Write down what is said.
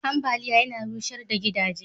ambaliya Yana rushar da gidaje